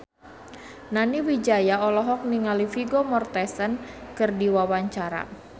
Nani Wijaya olohok ningali Vigo Mortensen keur diwawancara